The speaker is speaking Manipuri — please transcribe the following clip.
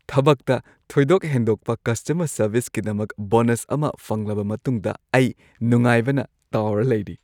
ꯊꯕꯛꯇ ꯊꯣꯏꯗꯣꯛ ꯍꯦꯟꯗꯣꯛꯄ ꯀꯁꯇꯃꯔ ꯁꯔꯚꯤꯁꯀꯤꯗꯃꯛ ꯕꯣꯅꯁ ꯑꯃ ꯐꯪꯂꯕ ꯃꯇꯨꯡꯗ ꯑꯩ ꯅꯨꯡꯉꯥꯢꯕꯅ ꯇꯥꯎꯔꯥ ꯂꯩꯔꯤ ꯫